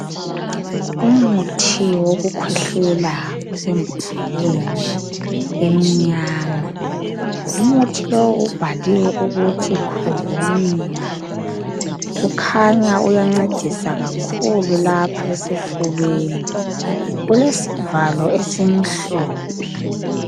Umuthi wokukhwehlela osembodleleni emnyama umuthi lowo ubhaliwe ukuthi covinia kukhanya uyancedisa kakhulu lapha esifubeni ulesivalo esimnyama.